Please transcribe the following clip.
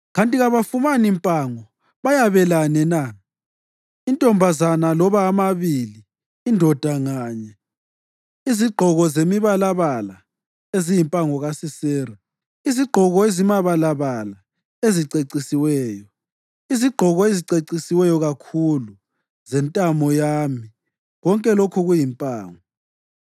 ‘Kanti kabafumani mpango bayabelane na; intombazana loba amabili indoda nganye, izigqoko ezimibalabala eziyimpango kaSisera, izigqoko ezimibalabala ezicecisiweyo, izigqoko eziceciswe kakhulu zentamo yami, konke lokhu kuyimpango?’